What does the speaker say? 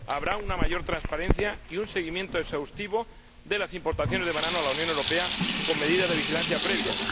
Habrá una mayor transparencia y un seguimiento exhaustivo de las importaciones de banano a la Unión Europea con medidas de vigilancia previas.